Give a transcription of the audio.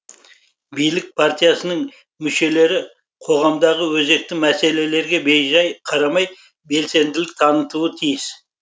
билік партиясының мүшелері қоғамдағы өзекті мәселелерге бейжай қарамай белсенділік танытуы тиіс